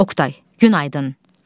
Oqtay, günaydın.